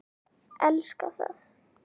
Elska það.